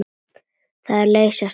Það er að leysast upp.